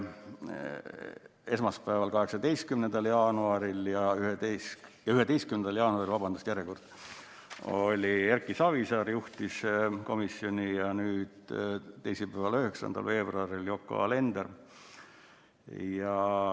Esmaspäeval, 11. jaanuaril juhtis Erki Savisaar komisjoni ja nüüd, teisipäeval, 9. veebruaril Yoko Alender.